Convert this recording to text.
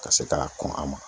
Ka se k'a kɔn a ma.